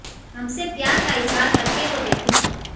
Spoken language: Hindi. हमसे प्यार का इजहार कर के तो देखो